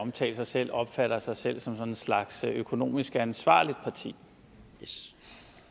omtale sig selv opfatter sig selv som sådan en slags økonomisk ansvarligt parti